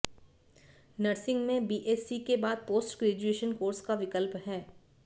nursing में BSc के बाद पोस्ट ग्रेजुएशन कोर्स का विकल्प है